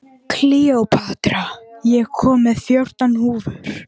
Kleópatra, ég kom með fjórtán húfur!